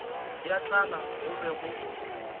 ya tlala go be go